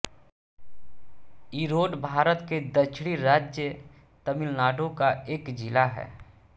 ईरोड भारत के दक्षिणी राज्य तमिलनाडु का एक जिला है